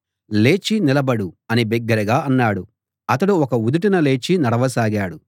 లేచి నిలబడు అని బిగ్గరగా అనగానే అతడు ఒక్క ఉదుటున లేచి నడవసాగాడు